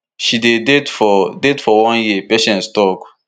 she dey date for date for one year patience tok